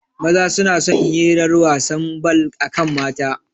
Maza suna son hirar wasan bal akan mata